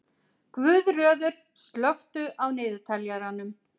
Guðröður, slökktu á niðurteljaranum.